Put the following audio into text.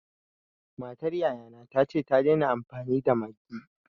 Matar yaya na ta ce ta daina amfani da Maggi.